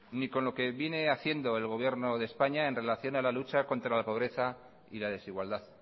ni con lo que viene haciendo el gobierno de españa en relación a la lucha contra la pobreza y la desigualdad